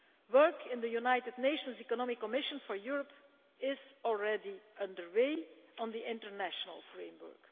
Work in the United Nations Economic Commission for Europe is already under way on the international framework.